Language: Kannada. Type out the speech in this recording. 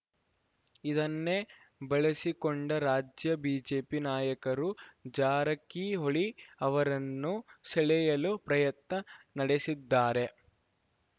ಇದನ್ನೇ ಬಳಸಿಕೊಂಡ ರಾಜ್ಯ ಬಿಜೆಪಿ ನಾಯಕರು ಜಾರಕಿಹೊಳಿ ಅವರನ್ನು ಸೆಳೆಯಲು ಪ್ರಯತ್ನ ನಡೆಸಿದ್ದಾರೆ